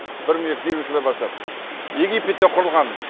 бір мың екі жүз елуінші жылдан бастап египетте құрылған